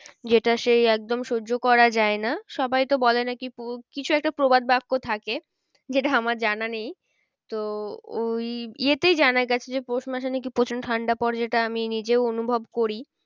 যেটা সেই একদম সহ্য করা যায় না সবাই তো বলে নাকি কিছু একটা প্রবাদ বাক্য থাকে যেটা আমার জানা নেই। তো ওই ইয়েতেই জানা গেছে যে পৌষ মাসে নাকি প্রচন্ড ঠান্ডা পরে যেটা আমি নিজেও অনুভব করি।